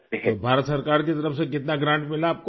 تو حکومت ہند کی جانب سے کتنی مدد ملی آپ کو؟